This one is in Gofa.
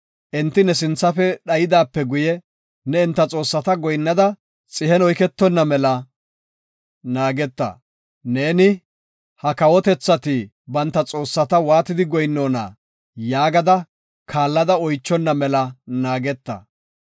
enti ne sinthafe dhaydaape guye, ne enta xoossata goyinnada, xihen oyketonna mela naageta. Neeni, “Ha kawotethati banta xoossata waatidi goyinnona?” yaagada kaallada oychonna mela naageta.